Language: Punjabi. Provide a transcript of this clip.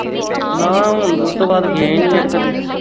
ਨਾ ਹੁਣ ਉਸ ਤੋਂ ਬਾਅਦ ਗਿਆ ਹੀ ਨਹੀਂ ਕਦੀ